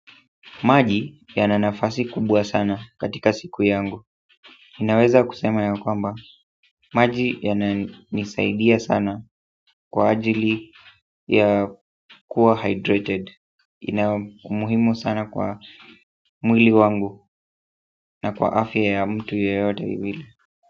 Maji yana nafasi kubwa sana katika siku yangu ninaweza kusema ya kwamba maji ya nisaidia sana kwa ajili ya kuwa hydrated ina umuhimu sana kwa mwili wangu na kwa afya ya mtu yeyote ya mwili.